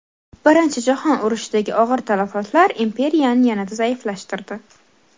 Birinchi jahon urushidagi og‘ir talafotlar imperiyani yanada zaiflashtirdi.